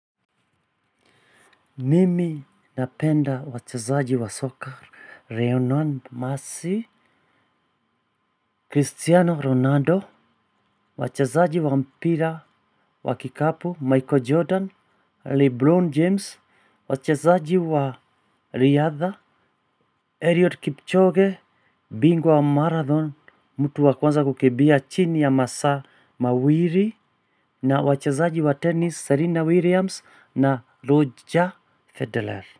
Mimi napenda wachezaji wa soccer, Lionel Messi, Cristiano Ronaldo, wachezaji wa mpira, wa kikapu, Michael Jordan, Lebron James, wachezaji wa Riadha, Eliud Kipchoge, Bingwa wa Marathon, mtu wa kwanza kukimbia chini ya masaa mawili, na wachezaji wa tennis, Serena Williams, na Roger Federer.